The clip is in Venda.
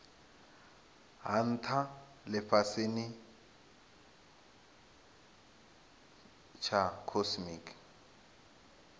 ha ntha lifhasini tsha cosmic